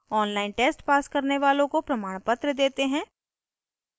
online test pass करने वालों को प्रमाणपत्र देते हैं